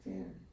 Ja